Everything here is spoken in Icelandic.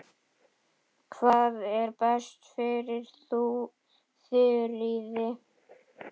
Hvað er best fyrir Þuríði?